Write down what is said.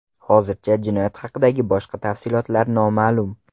Hozircha jinoyat haqidagi boshqa tafsilotlar noma’lum.